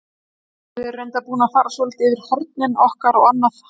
Við erum reyndar búin að fara svolítið yfir hornin okkar og annað.